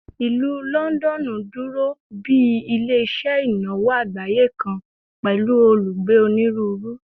Ilu Lọndọnu duro bi ile-iṣẹ inawo agbaye kan pẹlu olugbe oniruuru